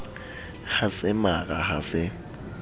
ha se mara ha se